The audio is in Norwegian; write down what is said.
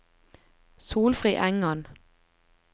Solfrid Engan